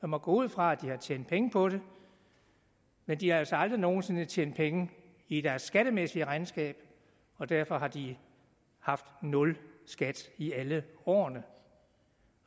må gå ud fra at de har tjent penge på det men de har altså aldrig nogen sinde tjent penge i deres skattemæssige regnskab og derfor har de haft nul skat i alle årene